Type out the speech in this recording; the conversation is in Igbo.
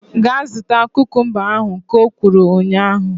Gaa zụta kukumba ahu! Ka o kwuru ụnyaahụ